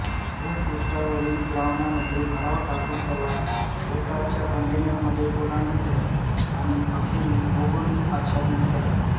भूपृष्ठावरील द्रावणामध्ये भराव टाकून त्याला भोवतालच्या कंटेनरमध्ये ओलांडू द्या आणि अखेरीस भौगोलिक आच्छादित करा